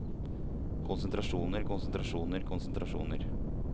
konsentrasjoner konsentrasjoner konsentrasjoner